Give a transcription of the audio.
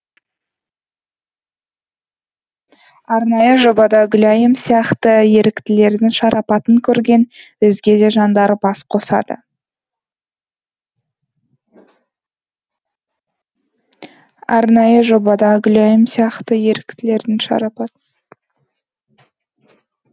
арнайы жобада гүлайым сияқты еріктілердің шарапатын көрген өзге де жандар бас қосады